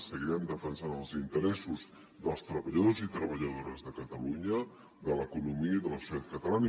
seguirem defensant els interessos dels treballadors i treballadores de catalunya de l’economia i de la societat catalana